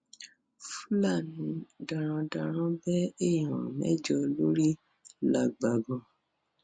fúlàní darandaran bẹ èèyàn mẹjọ lórí làgbàgàn